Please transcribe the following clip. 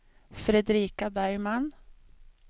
Fredrika Bergman